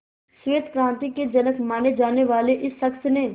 श्वेत क्रांति के जनक माने जाने वाले इस शख्स ने